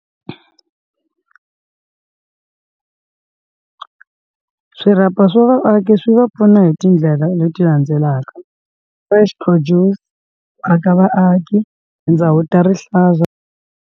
Swirhapa swa vaaki swi va pfuna hi tindlela leti landzelaka va fresh produce, aka vaaki tindhawu ta rihlaza.